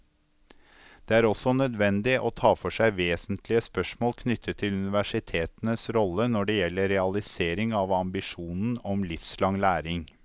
Det er også nødvendig å ta for seg vesentlige spørsmål knyttet til universitetenes rolle når det gjelder realisering av ambisjonen om livslang læring.